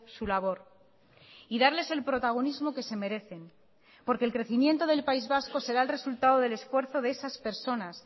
su labor y darles el protagonismo que se merecen porque el crecimiento del país vasco será el resultado del esfuerzo de esas personas